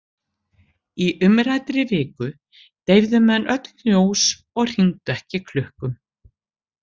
Í umræddri viku deyfðu menn öll ljós og hringdu ekki klukkum.